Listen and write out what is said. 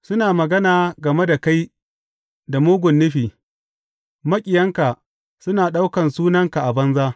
Suna magana game da kai da mugun nufi; maƙiyanka suna ɗaukan sunanka a banza.